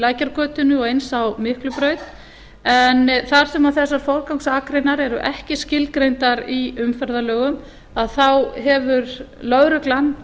lækjargötunni og eins á miklubraut en þar sem þessar forgangsakreinar eru ekki skilgreindar í umferðarlögum þá hefur lögreglan